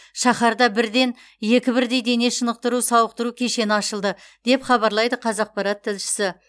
шаһарда бірден екі бірдей дене шынықтыру сауықтыру кешені ашылды деп хабарлайды қазақпарат тілшісі